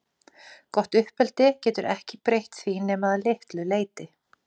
Gott uppeldi getur ekki breytt því nema að litlu leyti.